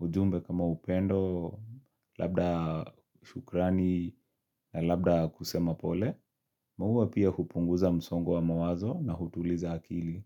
ujumbe kama upendo, labda shukrani na labda kusema pole. Mauwa pia hupunguza msongo wa mawazo na hutuliza akili.